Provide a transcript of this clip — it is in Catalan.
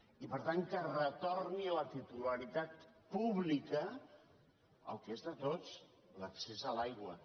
i per tant que retorni la titularitat pública el que és de tots l’accés a l’aigua